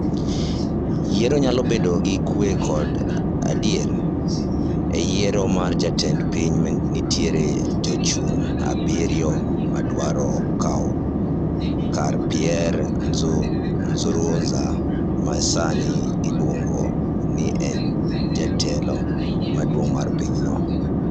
"Yiero nyalo bedo gi kwe kod adiera "E yiero mar jatend piny nitie jochung' abirio madwaro kawo kar Pierre Nkuruziza ma sani iluongo ni en jatelo maduong’ mar pinyno.